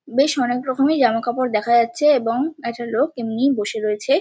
বেশ অনেক রকমেরই জামা কাপড় দেখা যাচ্ছে এবং একটা লোক এমনই বসে রয়েছে।